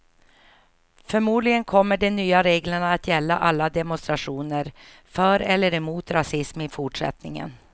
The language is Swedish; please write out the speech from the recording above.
Förmodligen kommer de nya reglerna att gälla alla demonstrationer för eller emot rasism i fortsättningen.